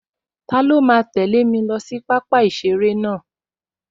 Taló máa tẹ̀lẹ́ mi lọ sí pápá-ìseré náà?